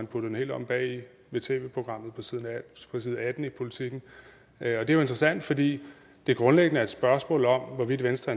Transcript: puttet helt om bagi ved tv programmet på side atten i politiken det er jo interessant fordi det grundlæggende er et spørgsmål om hvorvidt venstre